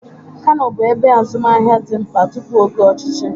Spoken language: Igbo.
Kano bụ ebe azụmaahịa dị mkpa tupu oge ọchịchị.